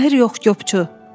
Mahir yox, Qopçu.